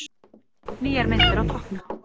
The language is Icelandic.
Nýjar myndir á toppnum